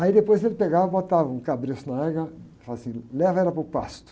Aí depois ele pegava, e botava um cabresto na égua e falava assim, leva ela para o pasto.